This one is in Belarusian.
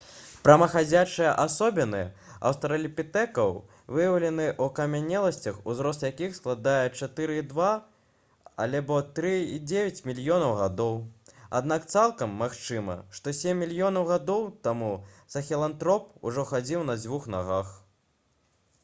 прамахадзячыя асобіны аўстралапітэкаў выяўлены ў акамянеласцях узрост якіх складае 4,2—3,9 мільёнаў гадоў аднак цалкам магчыма што сем мільёнаў гадоў таму сахелантроп ужо хадзіў на дзвюх нагах